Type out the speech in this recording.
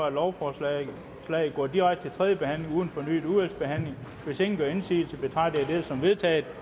at lovforslaget går direkte tredje behandling uden fornyet udvalgsbehandling hvis ingen gør indsigelse betragter jeg dette som vedtaget